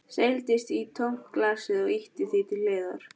Seildist í tómt glasið og ýtti því til hliðar.